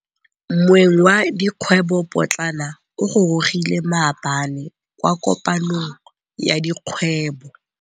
Moêng wa dikgwêbô pôtlana o gorogile maabane kwa kopanong ya dikgwêbô.